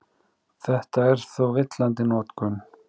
Þetta er þó villandi notkun.